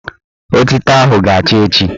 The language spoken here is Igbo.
Otito ahụ ga-acha echi